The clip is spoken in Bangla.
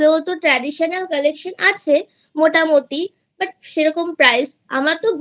তো traditional collection আছে মোটামোটি but সেরকম price আমার তো